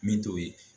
Min t'o ye